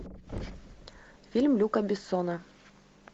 фильм люка бессона